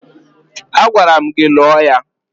Agwara m gị lụọ ya!